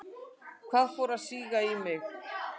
Það fór að síga í mig.